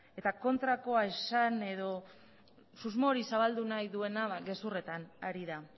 eta kontrakoa esan edo susmo hori zabaldu nahi duena gezurretan ari da